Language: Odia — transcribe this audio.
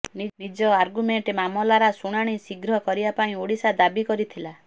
ନିଜ ଆରଗ୍ୟୁମେଣ୍ଟ ମାମଲରା ଶୁଣାଣି ଶୀଘ୍ର କରିବା ପାଇଁ ଓଡିଶା ଦାବି କରିଥିଲା